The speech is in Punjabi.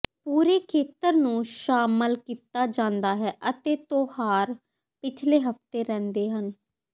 ਪੂਰੇ ਖੇਤਰ ਨੂੰ ਸ਼ਾਮਲ ਕੀਤਾ ਜਾਂਦਾ ਹੈ ਅਤੇ ਤਿਉਹਾਰ ਪਿਛਲੇ ਹਫ਼ਤੇ ਰਹਿੰਦੇ ਹਨ